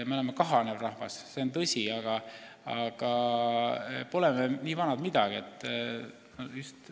Me oleme kahanev rahvas, see on tõsi, aga me pole veel nii vanad midagi.